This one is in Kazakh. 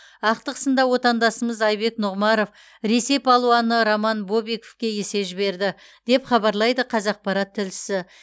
ақтық сында отандасымыз айбек нұғымаров ресей палуаны роман бобиковке есе жіберді деп хабарлайды қазақпарат тілшісі